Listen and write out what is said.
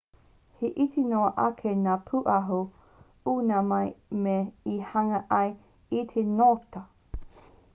he iti noa ake ngā pūaho i ngā mea e hanga ai i te ngota